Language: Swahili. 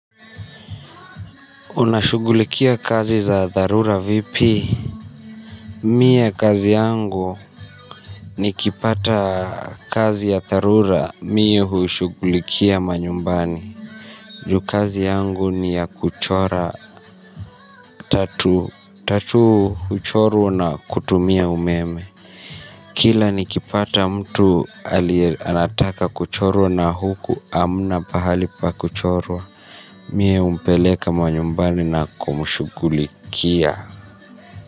Unashugulikia kazi za dharura vipi? Mie kazi yangu nikipata kazi ya dharura. Mie huishugulikia manyumbani. Ju kazi yangu ni ya kuchora tatuu. Tatuu huchorwa na kutumia umeme. Kila nikipata mtu anataka kuchorwa na huku hamna pahali pa kuchorwa. Mie humpeleka manyumbani na kumushugulikia.